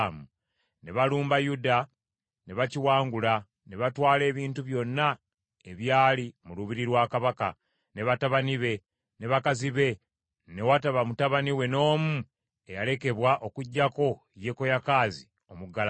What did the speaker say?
ne balumba Yuda, ne bakiwangula, ne batwala ebintu byonna ebyali mu lubiri lwa kabaka, ne batabani be, ne bakazi be, ne wataba mutabani we n’omu eyalekebwa okuggyako Yekoyakaazi, omuggalanda.